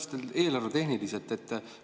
Ma täpsustan eelarvetehnilises mõttes.